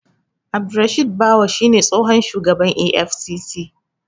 Abdurrashid Bawa shi ne tsohon shugaban EFCC.